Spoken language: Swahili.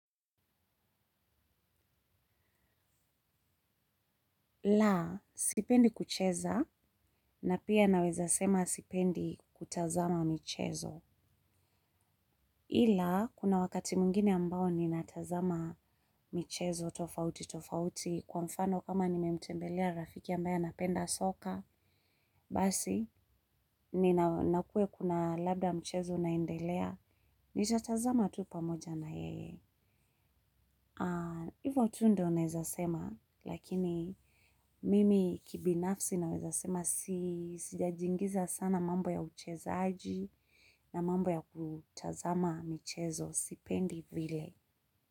La, sipendi kucheza, na pia naweza sema sipendi kutazama michezo. Ila, kuna wakati mwingine ambao ninatazama michezo tofauti tofauti, kwa mfano kama nimemtembelea rafiki ambaye anapenda soka, basi. Na ikuwe labda michezo inaendelea, nitatazama tu pamoja na yeye. Hivyo tu ndiyo naweza sema lakini mimi kibinafsi naweza sema. Sijajingiza sana mambo ya uchezaji na mambo ya kutazama michezo sipendi vile.